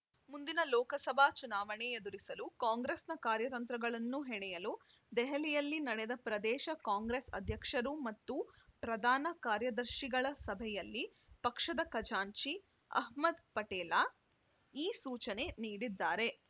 ಮುಂದಿನ ಲೋಕಸಭಾ ಚುನಾವಣೆ ಎದುರಿಸಲು ಕಾಂಗ್ರೆಸ್‌ನ ಕಾರ್ಯತಂತ್ರಗಳನ್ನು ಹೆಣೆಯಲು ದೆಹಲಿಯಲ್ಲಿ ನಡೆದ ಪ್ರದೇಶ ಕಾಂಗ್ರೆಸ್‌ ಅಧ್ಯಕ್ಷರು ಮತ್ತು ಪ್ರಧಾನ ಕಾರ್ಯದರ್ಶಿಗಳ ಸಭೆಯಲ್ಲಿ ಪಕ್ಷದ ಖಜಾಂಚಿ ಅಹ್ಮದ್‌ ಪಟೇಲ ಈ ಸೂಚನೆ ನೀಡಿದ್ದಾರೆ